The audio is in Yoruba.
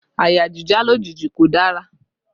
Àyà jíjá lójijì kò dára